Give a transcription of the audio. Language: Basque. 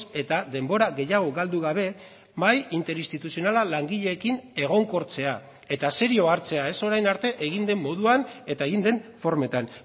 eta denbora gehiago galdu gabe mahai interinstituzionala langileekin egonkortzea eta serio hartzea ez orain arte egin den moduan eta egin den formetan